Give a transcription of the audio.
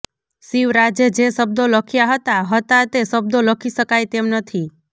શિવરાજે જે શબ્દો લખ્યા હતા હતા તે શબ્દો લખી શકાય તેમ નથી